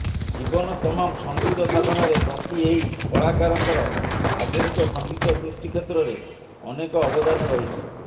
ଜୀବନ ତମାମ ସଙ୍ଗୀତ ସାଧନାରେ ବ୍ରତୀ ଏହି କଳାକାରଙ୍କର ଆଧୁନିକ ସଙ୍ଗୀତ ସୃଷ୍ଟି କ୍ଷେତ୍ରରେ ଅନେକ ଅବଦାନ ରହିଛି